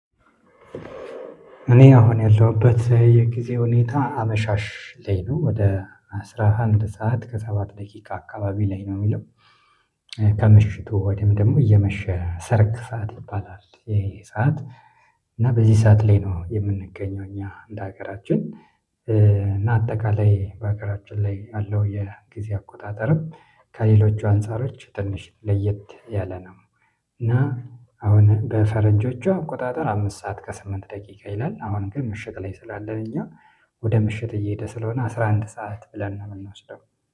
እኔ አሁን ያለሁበት የጊዜ ሁኔታ አመሻሽ ላይ ነው ወደ አስራ አንድ ሰዓት ከሰባት ደቂቃ አካባቢ ላይ ነው የሚለው። ከምሽቱ ወይም ደግሞ እየመሸ ሰርክ ሰዓት ይባላል ይሄ ሰዓት። እና በዚህ ሰዓት ላይ ነው የምንገኘው እኛ እንደ ሀገራችን እና አጠቃላይ በአገራችን ላይ ያለው የጊዜ አቆጣጠርም ከሌሎች አንፃሮች ትንሽ ለየት ያለ ነው። እና አሁን በፈረንጆቹ አቆጣጠር አምስት ሰዓት ከስምንት ደቂቃ ይላል። አሁን ግን ምሽት ላይ ስላለን እኛ ወደ ምሽት እየሄደ ስለሆነ አስራ አንድ ሰዓት ብለን ነው የምንወስደው